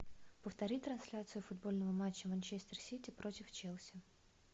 повтори трансляцию футбольного матча манчестер сити против челси